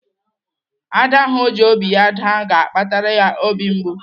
Ada ahụ ọ ji obi ya daa ga-akpatara ya obi mgbu.